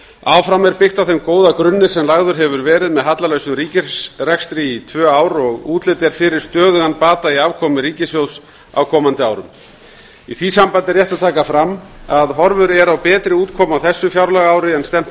áfram er byggt á þeim góða grunni sem lagður hefur verið með hallalausum ríkisrekstri í tvö ár og útlit er fyrir stöðugan bata í afkomu ríkissjóðs á komandi árum í því sambandi er rétt að taka fram að horfur eru á betri útkomu á þessu fjárlagaári en stefnt